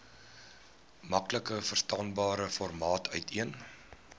maklikverstaanbare formaat uiteen